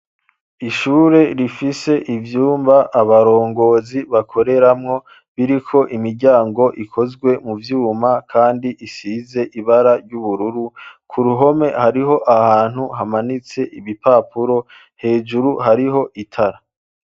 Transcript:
Ishure rifise ivyumba abarongozi bakoreramwo biriko imiryango ikozwe mu vyuma, kandi isize ibara ry'ubururu ku ruhome hariho ahantu hamanitse ibipapuro hejuru hariho itara.